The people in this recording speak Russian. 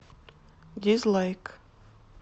дизлайк